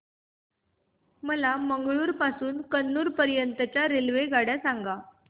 मला मंगळुरू पासून तर कन्नूर पर्यंतच्या रेल्वेगाड्या सांगा